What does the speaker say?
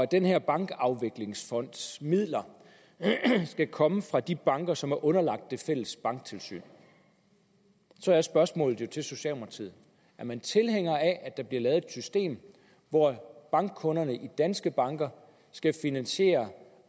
den her bankafviklingsfonds midler skal komme fra de banker som er underlagt det fælles banktilsyn så er spørgsmålet jo til socialdemokratiet er man tilhænger af at der bliver lavet et system hvor bankkunderne i danske banker skal finansiere